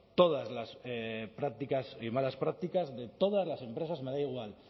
todas las prácticas y malas prácticas de todas las empresas me da igual